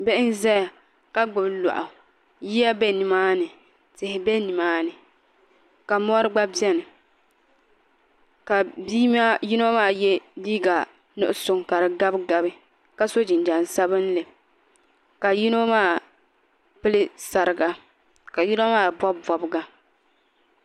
bihi n zaya ka gbubi lɔɣu yiya be ni maa ni tihi be ni maa ni ka mɔri gba beni ka bi' yino maa ye liiga nuɣiso ka di gabigabi ka so jinjam sabinlli ka yino maa pili sariga ka yino maa bɔbi bɔbiga